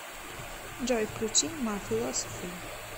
джой включи ма философи